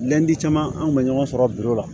caman an kun bɛ ɲɔgɔn sɔrɔ la